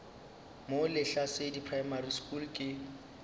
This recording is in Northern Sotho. mo lehlasedi primary school ke